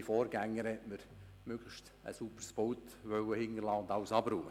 Meine Vorgängerin hat mir ein aufgeräumtes Pult hinterlassen wollen.